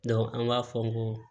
an b'a fɔ n ko